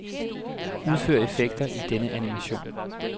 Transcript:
Udfør effekter i denne animation.